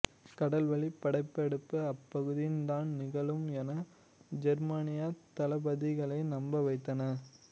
கடல்வழிப் படையெடுப்பு அப்பகுதியில் தான் நிகழும் என ஜெர்மானியத் தளபதிகளை நம்ப வைத்தன